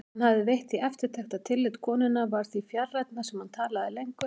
Hann hafði veitt því eftirtekt að tillit konunnar varð því fjarrænna sem hann talaði lengur.